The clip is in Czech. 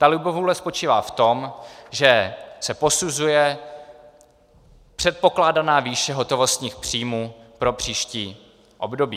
Ta libovůle spočívá v tom, že se posuzuje předpokládaná výše hotovostních příjmů pro příští období.